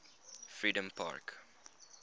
freedompark